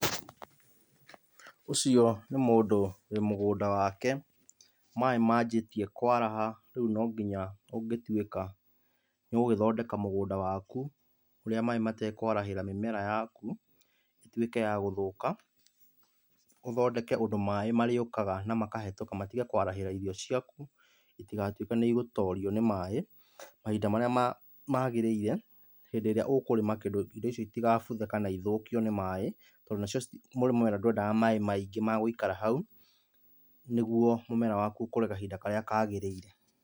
Ũcio nĩ mũndũ wĩ mũgũnda wake, maĩ manjĩtie kwaraha, rĩu no nginya ũngĩtuĩka nĩũgũgĩthondeka mũgũnda waku, ũrĩa maĩ matekwaharĩra mĩmera yaku, ĩtuĩke ya gũthũka. Ũthondeke ũndũ maĩ marĩũkaga na makahĩtũka matige kwarahĩra irio ciaku, itigatuĩke nĩigũtorio nĩ maĩ mahinda marĩa magĩrĩire, hĩndĩ ĩrĩa ũkũrĩma kĩndũ, indo icio itigabuthe kana ithũkio nĩ maĩ, tondũ nacio mũmera ndwendaga maĩ maiingĩ magũikara hau, nĩguo mũmera waku ũkũre kahinda karĩa kagĩrĩire